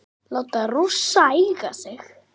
Láta Rússa eiga sig?